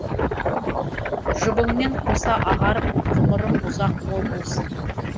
жұбыңмен қоса ағарып ғұмырың ұзақ мол болсын